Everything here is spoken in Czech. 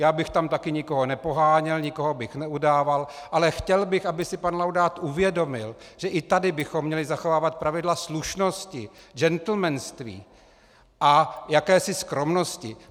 Já bych tam taky nikoho nepoháněl, nikoho bych neudával, ale chtěl bych, aby si pan Laudát uvědomil, že i tady bychom měli zachovávat pravidla slušnosti, džentlmenství a jakési skromnosti.